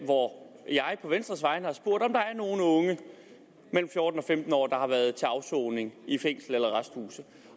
hvor jeg på venstres vegne har spurgt om der er nogle unge mellem fjorten og femten år der har været til afsoning i fængsel eller arresthus